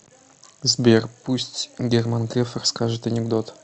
сбер пусть герман греф расскажет анекдот